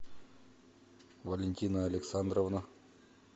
валентина александровна